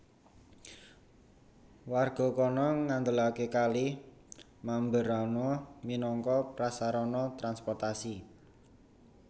Warga kana ngandelaké Kali Mamberamo minangka prasarana transportasi